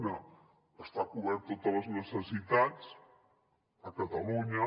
una estan cobertes totes les necessitats a catalunya